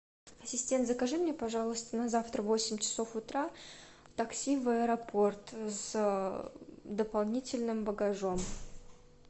ассистент закажи мне пожалуйста на завтра в восемь часов утра такси в аэропорт с дополнительным багажом